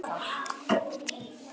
Dóttir fer í móður serk.